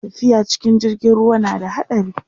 tafiya cikin jirgin ruwa na da haɗari